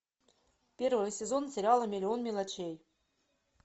первый сезон сериала миллион мелочей